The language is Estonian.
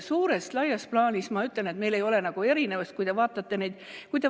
Suures plaanis, ma ütlen, meil ei ole nagu erinevusi.